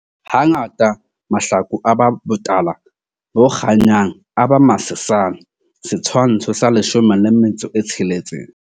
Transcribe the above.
Hangata mahlaku a ba botala bo kganyang, a ba masesane. Setshwantsho sa 16.